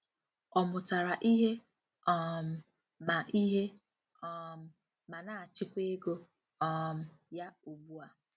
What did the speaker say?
Ọ mụtara ihe um ma ihe um ma na-achịkwa ego um ya ugbu a.